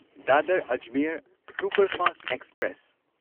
Dadar Ajmer superfast express